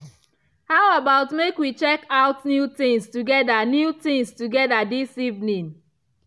how about make we check out new things together new things together this evening.